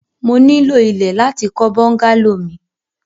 Mo ní ilọ̀ ilẹ̀ láti kọ̀ bùngàlọ̀ mi.